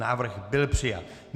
Návrh byl přijat.